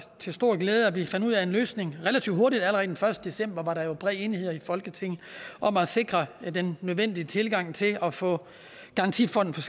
til stor glæde at vi fandt ud af en løsning relativt hurtigt allerede den første december var der jo bred enighed i folketinget om at sikre den nødvendige tilgang til at få garantifonden